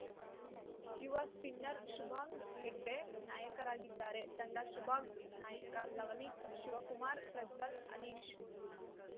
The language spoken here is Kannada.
ಯುವ ಸ್ಪಿನ್ನರ್‌ ಶುಭಾಂಗ್‌ ಹೆಗ್ಡೆ ನಾಯಕರಾಗಿದ್ದಾರೆ ತಂಡ ಶುಭಾಂಗ್‌ ನಾಯಕ ಲವನಿತ್‌ ಶಿವಕುಮಾರ್‌ ಪ್ರಜ್ವಲ್‌ ಅನೀಶ್‌